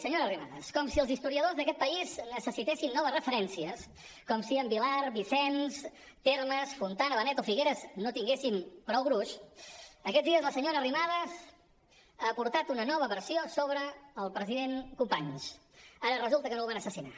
senyora arrimadas com si els historiadors d’aquest país necessitessin noves referències com si en vilar vicens termes fontana benet o figueres no tinguessin prou gruix aquests dies la senyora arrimadas ha aportat una nova versió sobre el president companys ara resulta que no el van assassinar